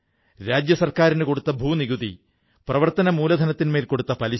ഈ സ്ഥാപനം മത്സരപരീക്ഷകൾക്കായി തയ്യാറെടുക്കുന്ന വിദ്യാർഥികൾക്ക് വളരെയധികം സഹായം ചെയ്യുന്നു